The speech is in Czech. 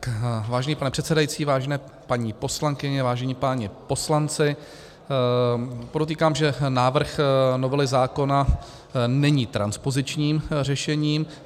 Vážený pane předsedající, vážené paní poslankyně, vážení páni poslanci, podotýkám, že návrh novely zákona není transpozičním řešením.